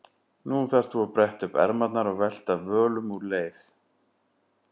Nú þarft þú að bretta upp ermarnar og velta völum úr leið.